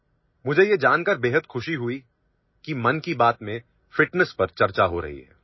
মাইণ্ডকিবেট ফিটনেছৰ বিষয়ে আলোচনা কৰা হৈছে বুলি জানি মই অতিশয় আনন্দিত হৈছো